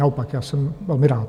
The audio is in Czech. Naopak, já jsem velmi rád.